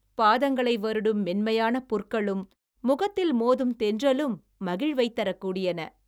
பாதங்களை வருடும் மென்மையான புற்களும் முகத்தில் மோதும் தென்றலும் மகிழ்வைத் தரக்கூடியன